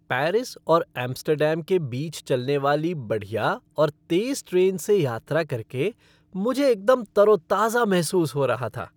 Paris और Amsterdam के बीच चलने वाली बढ़िया और तेज़ ट्रेन से यात्रा करके मुझे एकदम तरोताजा महसूस हो रहा था।